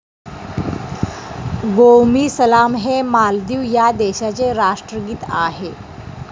गोवमी सलाम हे मालदीव या देशाचे राष्ट्रगीत आहे.